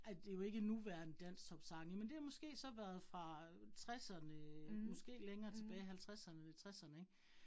Ej det jo ikke nuværende dansktopsange, men det måske så været fra tresserne måske længere tilbage halvtresserne tresserne ik